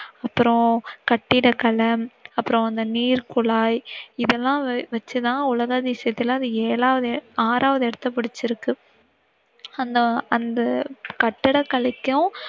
அப்புறம் கட்டிடகலை, அப்புறம் அந்த நீர்குழாய் இதெல்லாம் வச்சு தான் உலக அதிசயத்துல அது ஏழாவது, ஆறாவது இடத்தை புடிச்சிருக்கு, அந்த~அந்த கட்டிட கலைக்கும்